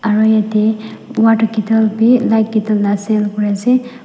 aro yatae water kittle bi light kitil la sell kuriase.